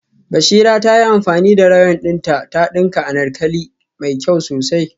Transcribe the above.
Bashira ta yi amfani da rayon dinta ta dinka anarkali mai kyau sosai